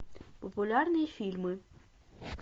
популярные фильмы